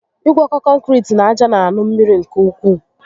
Igwọkọ kọnkiriti na aja na aṅu mmiri nke ukwu